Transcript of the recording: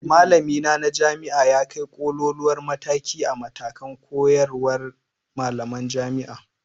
Malamina na jami'a ya kai ƙoƙoluwar mataki a matakan koyarwar malaman jami'a.